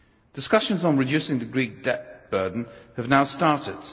Discussions on reducing the Greek debt burden have now started.